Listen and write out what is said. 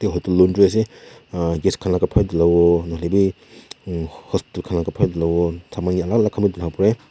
edu laundry ase use khan la kapra dhula wo nahoilae bi hostel khan la kapra dhulawo saman yae alak alak dhula wo parae.